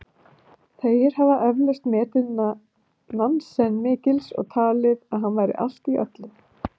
Þeir hafa eflaust metið Nansen mikils og talið að hann væri allt í öllu.